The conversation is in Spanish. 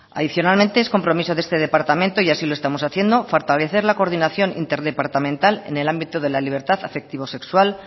adicionalmente es compromiso de este departamento y así lo estamos haciendo fortalecer la coordinación interdepartamental en el ámbito de la libertad afectivo sexual